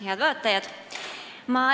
Head vaatajad!